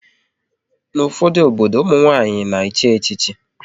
N'ufodu obodo, ụmụ nwanyị na echi echichi